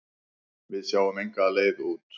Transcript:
Við sáum enga leið út.